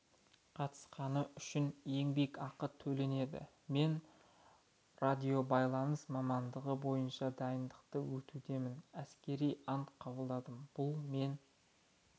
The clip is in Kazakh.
қатысқаны үшін еңбекақы төленеді мен радиобайланыс мамандығы бойынша дайындықтан өтудемін әскери ант қабылдадым бұл мен